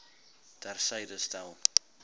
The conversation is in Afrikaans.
ter syde stel